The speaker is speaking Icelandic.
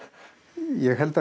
ég held að